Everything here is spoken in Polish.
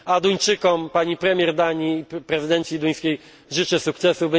A Duńczykom, pani premier Danii, prezydencji duńskiej życzę sukcesów.